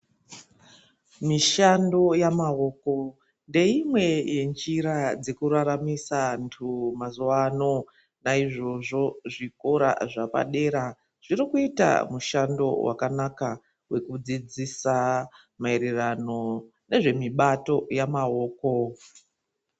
Mishando yamaoko ndeimwe yenjira dzekuraramisa vantu mazuwa ano naizvozvo zvikora zvepadera zviri kuita mushando wakanaka wekudziidzisa maererano nezvimibato yamaoko.